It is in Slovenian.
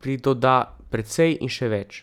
pridoda, precej in še več.